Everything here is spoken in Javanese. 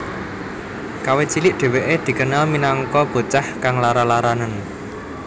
Kawit cilik dheweke dikenal minangka bocah kang lara laranan